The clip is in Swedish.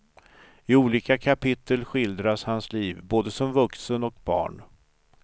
I olika kapitel skildras hans liv, både som vuxen och barn.